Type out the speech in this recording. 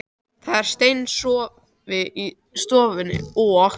Það var svefnsófi í stofunni og